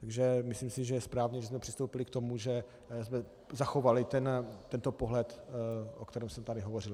Takže myslím si, že je správné, že jsme přistoupili k tomu, že jsme zachovali tento pohled, o kterém jsem tady hovořil.